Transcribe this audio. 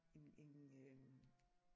En en øh